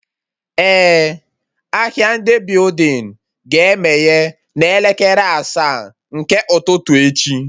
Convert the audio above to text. Eh, ahịa ndị building ga-emeye n'elekere asaa nke ụtụtụ echi